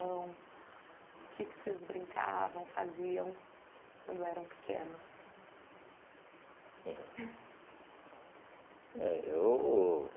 O que que vocês brincavam, faziam, quando eram pequenos? Hum, eh eu